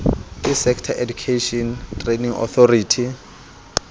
ke sector education training authority